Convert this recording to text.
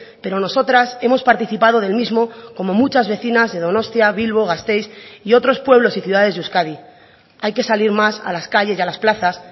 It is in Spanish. pero nosotras hemos participado del mismo como muchas vecinas de donostia bilbo gasteiz y otros pueblos y ciudades de euskadi hay que salir más a las calles y a las plazas